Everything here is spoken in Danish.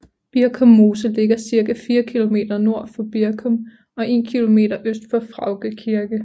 Birkum Mose ligger cirka 4 kilometer nord for Birkum og 1 kilometer øst for Fraugde Kirke